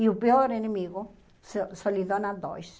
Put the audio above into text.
E o pior inimigo, so solidão a dois.